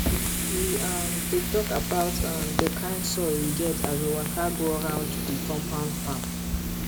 we um dey talk about um the kind soil we get as we waka go round the compound farm